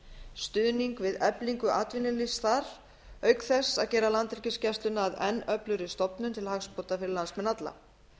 stuðning við eflingu atvinnulífs þar auk þess að gera landhelgisgæsluna að enn öflugri stofnun til hagsbóta fyrir landsmenn alla